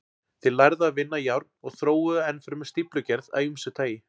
Þeir lærðu að vinna járn og þróuðu enn fremur stíflugerð af ýmsu tagi.